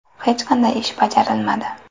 Hech qanday ish bajarilmadi.